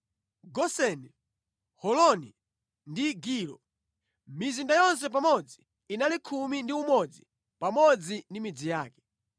Goseni, Holoni ndi Gilo. Mizinda yonse pamodzi inali khumi ndi umodzi pamodzi ndi midzi yake.